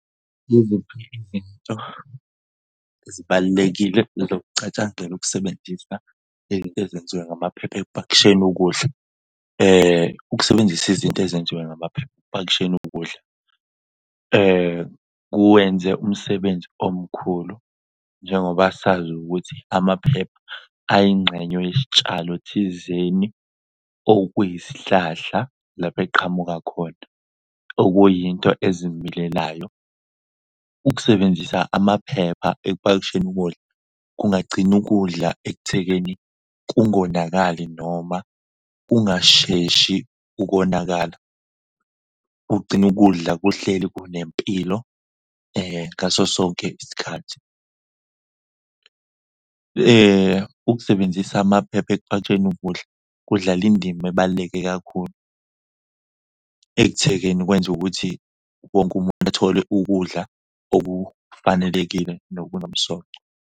Yiziphi izinto ezibalulekile zokucatshangelwa ukusebenzisa izinto ezenziwe ngamaphepha ekupakisheni ukudla? Ukusebenzisa izinto ezenziwe ngamaphepha ekupakisheni ukudla kwenze umsebenzi omkhulu njengoba sazi ukuthi amaphepha ayingxenye yisitshalo thizeni okuyisihlahla lapho eqhamuka khona, okuyinto ezimilelayo. Ukusebenzisa amaphepha ekupakisheni ukudla kungagcina ukudla ekuthekeni kungonakali noma kungasheshi ukonakala. Kugcina ukudla kuhleli kunempilo ngaso sonke isikhathi. Ukusebenzisa amaphepha ekupakisheni ukudla kudlale indima ebaluleke kakhulu ekuthekeni kwenze ukuthi wonke umuntu athole ukudla okufanelekile nokunomsoco.